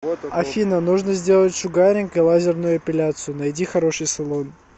афина нужно сделать шугаринг и лазерную эпиляцию найди хороший салон